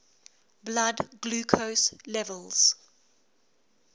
blood glucose levels